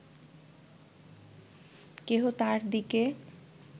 কেহ তাঁহার দিকে